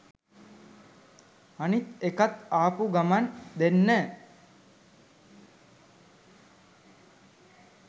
අනිත් එකත් ආපු ගමන් දෙන්න